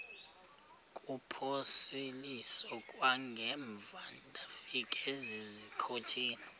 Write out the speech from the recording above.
kuphosiliso kwangaemva ndafikezizikotile